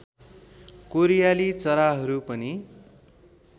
कोरियाली चराहरू पनि